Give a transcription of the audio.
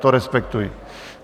To respektuji.